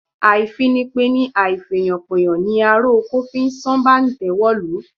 Àìfìpeni àìfèèyànpèèyàn ni ará oko fi sán bàǹtẹ́ wọ̀lú